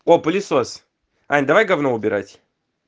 о пылесос ань давай говно убирать